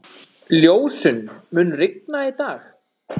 Ljósunn, mun rigna í dag?